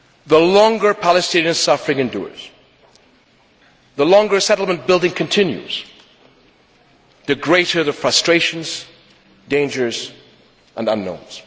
The longer Palestinian suffering endures, the longer settlement building continues, the greater the frustrations, dangers and unknowns.